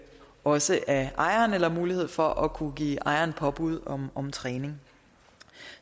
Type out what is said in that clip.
også af ejerne eller mulighed for at kunne give ejeren påbud om om træning